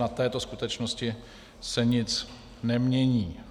Na této skutečnosti se nic nemění.